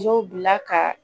Dɔw bila ka